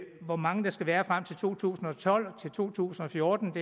hvor mange der skal være frem til to tusind og tolv og til to tusind og fjorten